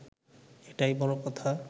এটাই বড় কথা